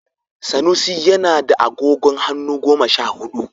Sanusi yana da agogon hannu goma sha hudu